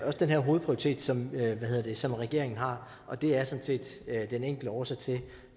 også den her hovedprioritet som som regeringen har og det er sådan set den enkle årsag til